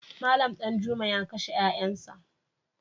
Malam Danjuma ya kashe ‘ƴa’ƴansa.